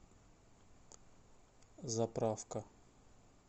заправка